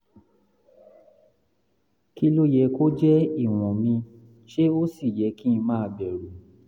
kí ló yẹ kó jẹ́ ìwọ̀n mi ṣé ó sì yẹ kí n máa bẹ̀rù?